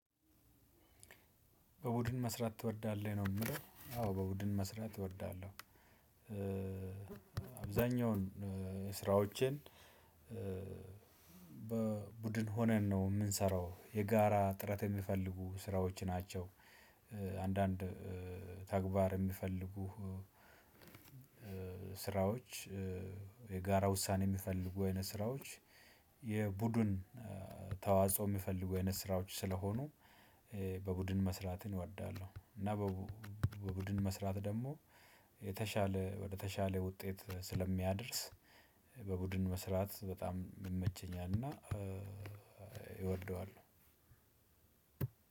በቡድን መስራት ትወዳለህ? ነው የሚለው አዎ በቡድን መስራት እወዳለሁ አብዛኛውን ስራዎችን በቡድን ሆነን ነው የምንሰራው የጋራ ጥረት የሚፈልጉ ስራዎች ናቸው አንዳንድ ተግባር የሚፈልጉ ስራዎች የጋራ ውሳኔ የሚፈልጉ አይነት ስራዎች የቡድን ተዋጽኦ የሚፈልጉ አይነት ስራዎች ስለሆኑ በቡድን መስራትን እወዳለሁ እና በቡድን መስራት ደግሞ የተሻለ ወደ ተሻለ ውጤት ስለሚያደርስ በቡድን መስራት በጣም ይመቸኛልና እወደዋለሁ።